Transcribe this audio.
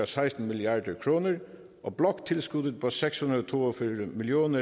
seksten milliard kr og bloktilskuddet på seks hundrede og to og fyrre million